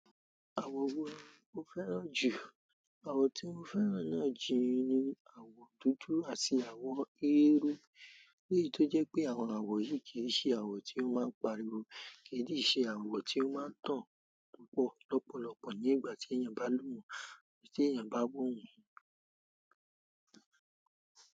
Àwọ̀ wo mo fẹ́ràn jù? Àwọ̀n tí mo fẹ́ràn náà ji ni àwọ̀ dúdú àti àwọ̀ eérú. Èyí tó jẹ́ pé àwọn àwọ̀ yìí kì í ṣe àwọ̀ tí ó máa ń pariwo, kì í ṣe àwọ̀ tí ó máa ń tàn pọ̀ lọ́pọ̀lọpọ̀ ní ìgbà tí èèyàn bá lù wọ́n, tí èèyàn bá wọ̀ wọ́n.